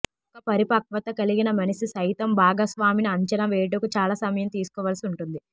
ఒక పరిపక్వత కలిగిన మనిషి సైతం భాగస్వామిని అంచనా వేయుటకు చాలా సమయం తీసుకోవలసి ఉంటుంది